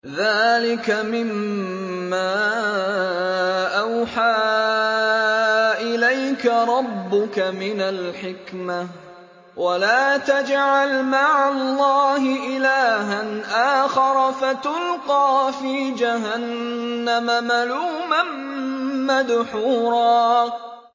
ذَٰلِكَ مِمَّا أَوْحَىٰ إِلَيْكَ رَبُّكَ مِنَ الْحِكْمَةِ ۗ وَلَا تَجْعَلْ مَعَ اللَّهِ إِلَٰهًا آخَرَ فَتُلْقَىٰ فِي جَهَنَّمَ مَلُومًا مَّدْحُورًا